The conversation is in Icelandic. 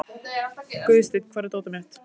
Guðstein, hvar er dótið mitt?